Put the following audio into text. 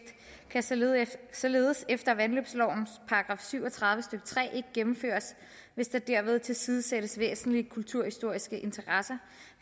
kan således således efter vandløbslovens § syv og tredive stykke tre ikke gennemføres hvis der derved tilsidesættes væsentlige kulturhistoriske interesser